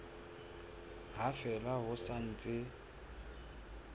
ha fela ho sa ntse